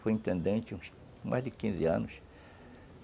Foi intendente uns... Há mais de quinze anos.